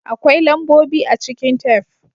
Akwai lambobi a cikin tef.